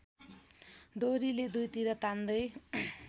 डोरीले दुईतिर तान्दै